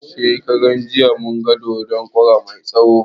Shekaran jiya mun ga dodon kara mai tsawo